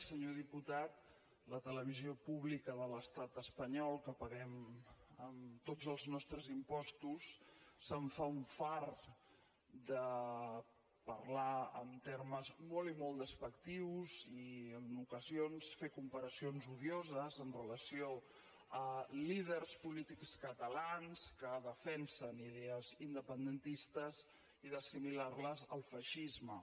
senyor diputat la televisió pública de l’estat espanyol que paguem amb tots els nostres impostos se’n fa un fart de parlar en termes molt i molt despectius i en ocasions fer comparacions odioses amb relació a líders polítics catalans que defensen idees independentistes i d’assimilar les al feixisme